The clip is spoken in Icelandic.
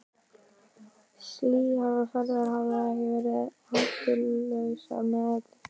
Slíkar ferðir hafa ekki verið hættulausar með öllu.